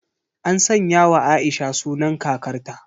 An sanyawa Aisha sunan kakarta.